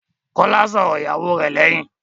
Kọ́lá sọ̀rọ̀ ìyàwó rẹ̀ lẹ́yìn.